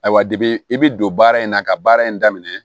Ayiwa i bɛ don baara in na ka baara in daminɛ